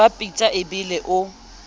ba pitsa e bele o